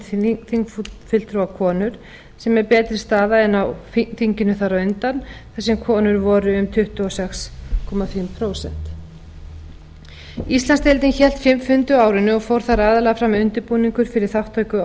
komma eitt prósent þingfulltrúa konur sem er betri staða en á þinginu þar á undan þar sem konur voru um tuttugu og sex og hálft prósent íslandsdeildin hélt fimm fundi á árinu og fór þar aðallega fram undirbúningur fyrir þar aðallega fram undirbúningur fyrir þátttöku á